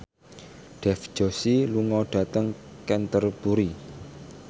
Dev Joshi lunga dhateng Canterbury